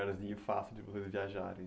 fácil de vocês viajarem,